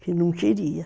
Que não queria.